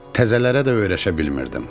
Təzələrə də öyrəşə bilmirdim.